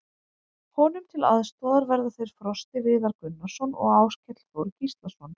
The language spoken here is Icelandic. Honum til aðstoðar verða þeir Frosti Viðar Gunnarsson og Áskell Þór Gíslason.